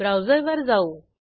ब्राऊजरवर जाऊ